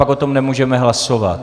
Pak o tom nemůžeme hlasovat.